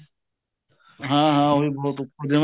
ਹਾਂ ਹਾਂ ਉਹੀ ਬਹੁਤ ਉੱਪਰ ਜਿਵੇਂ